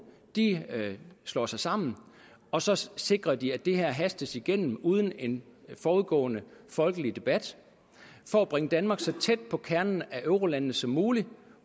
slår sig sammen og så så sikrer de at det her hastes igennem uden en forudgående folkelig debat for at bringe danmark så tæt på kernen af eurolandene som muligt